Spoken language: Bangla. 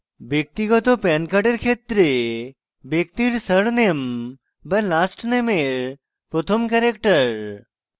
ব্যক্তিগত pan card ক্ষেত্রে ব্যক্তির সার নেম বা last নেমের প্রথম ক্যারেক্টার